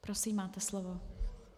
Prosím, máte slovo.